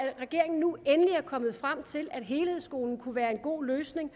regeringen nu endelig er kommet frem til at helhedsskolen kunne være en god løsning og